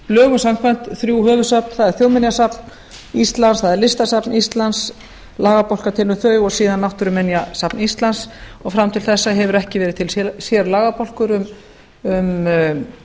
lögum samkvæmt þrjú höfuðsöfn það er þjóðminjasafn íslands það er listasafn ísland lagabálkar til um þau og síðan náttúruminjasafn íslands og fram til þessa hefur ekki verið til sérlagabálkur um